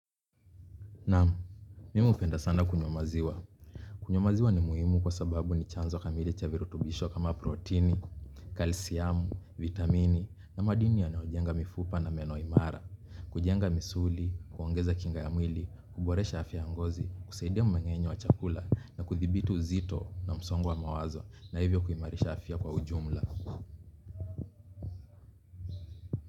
Naam, mimi hupenda sana kunywa maziwa. Kunywa maziwa ni muhimu kwa sababu ni chanzo kamili cha virutubisho kama proteini, kalsiamu, vitamini na madini yanaojenga mifupa na meno imara. Kujenga misuli, kuongeza kinga ya mwili, kuboresha afya ya mgozi, kusaidia mmeng'enyo wa chakula na kuthibiti uzito na msongo wa mawazo na hivyo kuimarisha afya kwa ujumla.